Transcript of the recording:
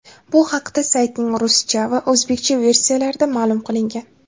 Bu haqda saytning ruscha va o‘zbekcha versiyalarida ma’lum qilingan.